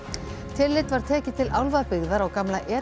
tillit var tekið til álfabyggðar á gamla